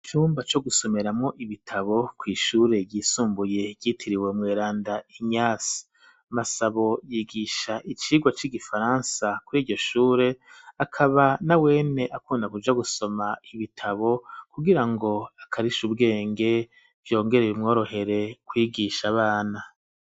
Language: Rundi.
Iumba cyo gusomeramo ibitabo ku ishure byisumbuye yitiriwe mweranda inyase masabo yigisha icigwa c'igifaransa kuri iyoshure akaba na wene akunda kuja gusoma ibitabo kugirango akarisha ubwenge vyongereye mworohere kwigisha abana.